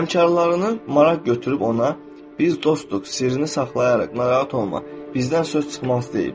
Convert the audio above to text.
Həmkarının maraq götürüb ona: "Biz dostuq, sirrini saxlayarıq, narahat olma, bizdən söz çıxmaz" deyiblər.